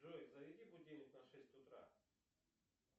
джой заведи будильник на шесть утра